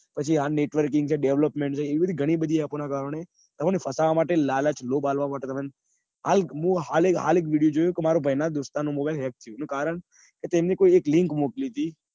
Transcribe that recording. હાલ networking development એવી ગની બધી અપ્તપો ના કારણે તમને ફસાવા માટે લાલચ લોભ આપવા માટે તમને મેં હાલ એક વીડિઓ જોયો તો મારા ભાઈ નો દોસ્તાર નો ફોન hack થઇ ગયો એનું કારણ એમને એવી કોઈક link મોકલી હતી.